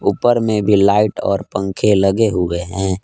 ऊपर में भी लाइट और पंखे लगे हुए हैं।